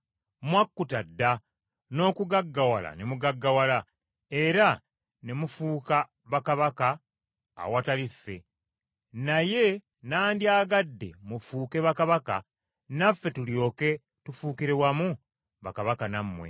Mwakkuta dda n’okugaggawala ne mugaggawala, era ne mufuuka bakabaka awatali ffe; naye nandyagadde mufuuke bakabaka, naffe tulyoke tufuukire wamu bakabaka nammwe.